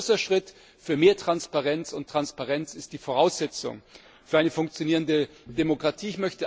Es ist ein großer Schritt zu mehr Transparenz, und Transparenz ist die Voraussetzung für eine funktionierende Demokratie.